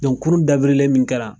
kurun dabirilen min kɛ la